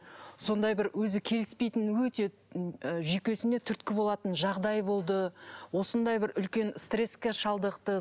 сондай бір өзі келіспейтін өте жүйкесіне түрткі болатын жағдай болды осындай бір үлкен стресске шалдықты